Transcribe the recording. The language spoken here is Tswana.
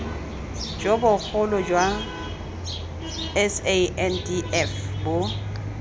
jo bogolo jwa sandf bo